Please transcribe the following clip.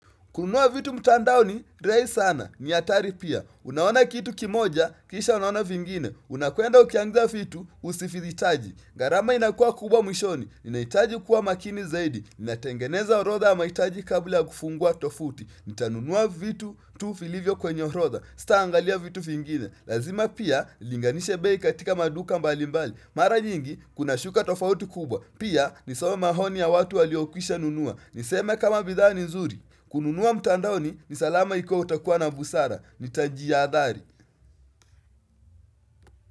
Kununua vitu mtandaoni, rahisi sana. Ni hatari pia. Unaona kitu kimoja, kisha unaona vingine. Unakwenda ukianzia vitu, usivihitaji. Gharama inakua kubwa mwishoni. Inahitaji kuwa makini zaidi. Inatengeneza orodha ya mahitaji kabla kufungua tofuti. Nitanunua vitu tu vilivyo kwenye orodha. Sitaangalia vitu vingine. Lazima pia, nilinganishe bei katika maduka mbali mbali. Mara nyingi, kunashuka tofauti kubwa. Pia, nisome maoni ya watu waliokwisha nunua. Niseme kama bidhaa ni nzuri. Kununua mtandaoni ni salama ikiwa utakuwa na busara Nitajihadhari.